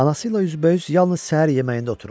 Anası ilə üzbəüz yalnız səhər yeməyində otururdu.